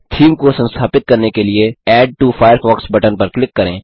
theme को संस्थापित करने के लिए एड टो फायरफॉक्स बटन पर क्लिक करें